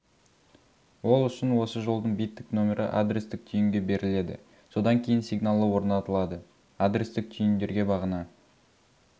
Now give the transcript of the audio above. ол үшін осы жолдың биттік нөмірі адрестік түйінге беріледі содан кейін сигналы орнатылады адрестік түйіндерге бағана